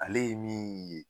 Ale ye min ye